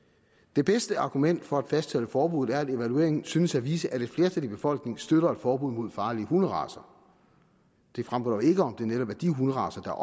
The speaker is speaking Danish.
det bedste argument for at fastholde forbuddet er at evalueringen synes at vise at et flertal i befolkningen støtter et forbud mod farlige hunderacer det fremgår dog ikke om det netop er de hunderacer der